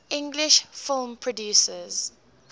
english film producers